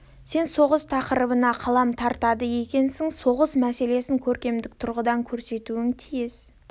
сен соғыс тақырыбына қалам тартады екенсің соғыс мәселесін көркемдік тұрғыдан көрсетуге тиіссің